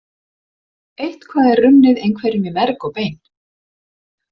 Eitthvað er runnið einhverjum í merg og bein